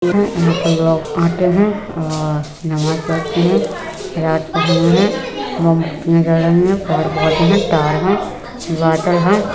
यहाँ पे लोग आते हैं और नमाज पढ़ते हैं। तार है।